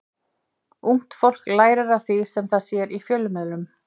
Ungt fólk lærir af því sem það sér í fjölmiðlum.